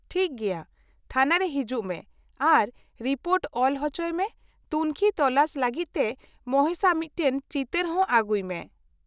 -ᱴᱷᱤᱠ ᱜᱮᱭᱟ , ᱛᱷᱟᱱᱟ ᱨᱮ ᱦᱤᱡᱩᱜ ᱢᱮ ᱟᱨ ᱨᱤᱯᱳᱨᱴ ᱚᱞ ᱦᱚᱪᱚᱭ ᱢᱮ ᱾ ᱛᱩᱱᱠᱷᱤᱼᱛᱚᱞᱟᱥ ᱞᱟᱹᱜᱤᱫ ᱛᱮ ᱢᱚᱦᱮᱥᱟᱜ ᱢᱤᱫᱴᱟᱝ ᱪᱤᱛᱟᱹᱨ ᱦᱚᱸ ᱟᱹᱜᱩᱭ ᱢᱮ ᱾